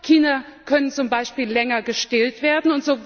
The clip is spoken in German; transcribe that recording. Kinder können zum Beispiel länger gestillt werden.